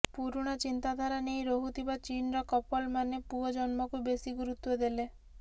ପୁରୁଣା ଚିନ୍ତାଧାରା ନେଇ ରହୁଥିବା ଚୀନର କପଲ ମାନେ ପୁଅ ଜନ୍ମକୁ ବେଶୀ ଗୁରୁତ୍ୱ ଦେଲେ